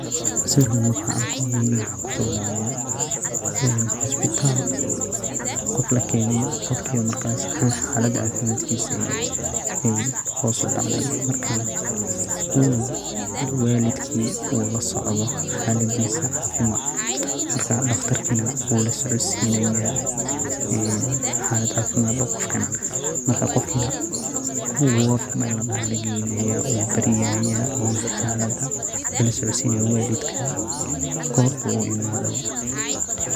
Sawirkan markan arko niyadeyda waxa kusodacaya hosbital qof lakene, qofkas oo marka xalada cafimadkisa ey hoos udacdey oo marka uu walidkisa lasocdo xalada cafimad marka daqtarkana wulasocodsinaya marka qofkan wod meel ladoho aya lageynaya oo uu baryaya oo xalada lalasocodsinaya walidka gortu imadaba.